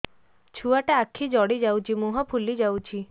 ଛୁଆଟା ଆଖି ଜଡ଼ି ଯାଉଛି ମୁହଁ ଫୁଲି ଯାଉଛି